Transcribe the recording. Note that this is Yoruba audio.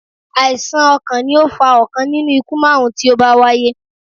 Àìsàn ọkàn ni ó fa ọ̀kan nínú ikú márùn-ún tí ó bá wáyé.